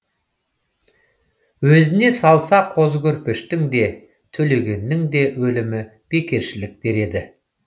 өзіне салса қозы көрпештің де төлегеннің де өлімі бекершілік дер еді